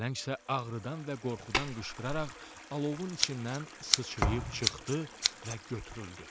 Pələng isə ağrıdan və qorxudan qışqıraraq alovun içindən sıçrayıb çıxdı və götürüldü.